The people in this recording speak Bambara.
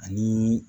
Ani